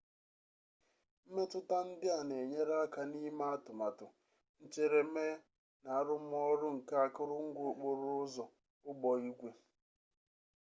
mmetụta ndị a na-enyere aka n'ime atụmatụ ncheremee na arụmọrụ nke akụrụngwa okporo ụzọ ụgbọ igwe